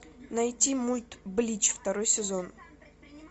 найти мульт блич второй сезон